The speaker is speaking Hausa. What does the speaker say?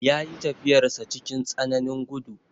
Ya yi tafiyarsa cikin tsananin gudu.